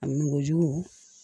A mɔgɔ jugu